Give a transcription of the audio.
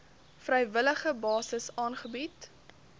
vrywillige basis aangebied